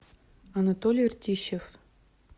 анатолий ртищев